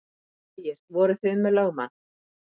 Ægir: Voruð þið með lögmann?